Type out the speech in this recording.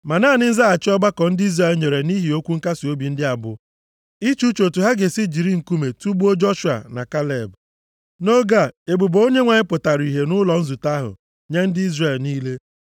Ma naanị nzaghachi ọgbakọ ndị Izrel nyere nʼihi okwu nkasiobi ndị a bụ iche uche otu ha ga-esi jiri nkume tugbuo Joshua na Kaleb. Nʼoge a, ebube Onyenwe anyị pụtara ihe nʼụlọ nzute ahụ nye ndị Izrel niile.